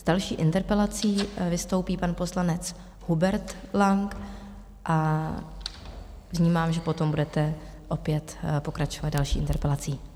S další interpelací vystoupí pan poslanec Hubert Lang a vnímám, že potom budete opět pokračovat další interpelací.